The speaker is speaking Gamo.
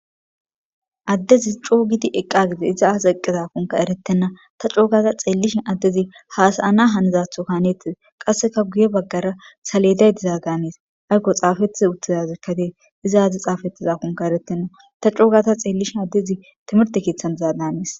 Addezi coogidi eqqa gide iza aas eqqezafunka erettenna ta coogata xeellishin addezi haasayana hanizatho kaanettize qasseka guye baggara saleday diza ganees aykko xaafetiz uttizazekkadee izaazi xaafettizafunka erettenna ta coogata xeellishi addezi timirte keeththan dizaa daanees.